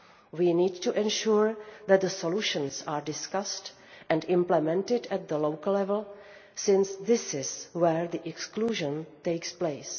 We need to ensure that the solutions are discussed and implemented at local level, since this is where the exclusion takes place.